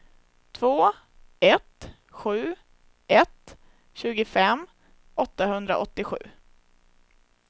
två ett sju ett tjugofem åttahundraåttiosju